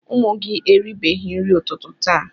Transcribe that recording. Ụmụ gị eribeghị nri ụtụtụ taa.